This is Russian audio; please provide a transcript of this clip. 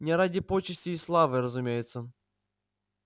не ради почестей и славы разумеется